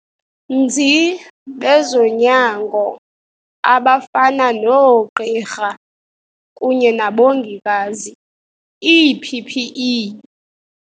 nzi bezonyango abafana noogqirha kunye nabongikazi ii-PPE.